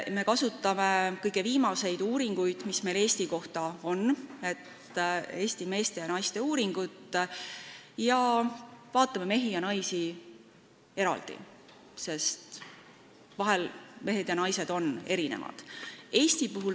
Me kasutasime kõige viimaseid uuringuid, mis Eesti kohta on, näiteks Eesti meeste ja naiste uuringut, ning vaatasime mehi ja naisi eraldi, sest vahel mehed ja naised on erinevad.